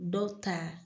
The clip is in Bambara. Dɔw ta